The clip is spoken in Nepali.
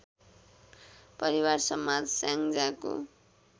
परिवार समाज स्याङ्जाको